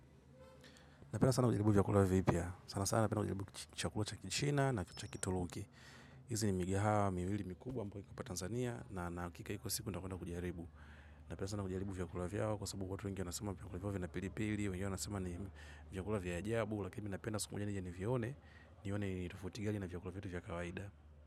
Napenda sana kujaribu vyakula vipya. Sana sana napenda kujaribu chakula cha kichina na cha kituruki. Izi ni migahawa, miwili, mikubwa ambayo ipo apa Tanzania. Na nina hakika iko siku nitakwenda kujaribu. Napenda sana kujaribu vyakula vyao kwa sababu watu wengi wanasema vyakula vyao vina pili pili. Wengine wanasema ni vyakula vya ajabu. Lakini mi napenda siku moja nije nivione. Nione ni tofauti gani na vyakula vyetu vya kawaida.